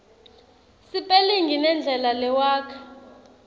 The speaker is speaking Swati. sipelingi nendlela lewakha